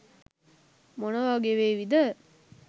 මොන වගේ වේවිද?